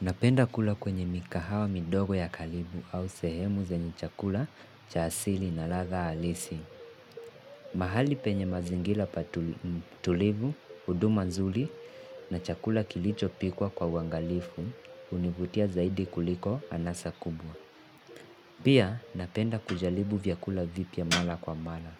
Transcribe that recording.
Napenda kula kwenye mikahawa midogo ya karibu au sehemu zenye chakula cha asili na ladha alisi. Mahali penye mazingira patulivu, huduma nzuri na chakula kilichopikwa kwa uangalifu hunivutia zaidi kuliko anasa kubwa. Pia napenda kujaribu vyakula vipya mala kwa mala.